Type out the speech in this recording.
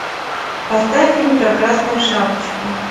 поставь фильм про красную шапочку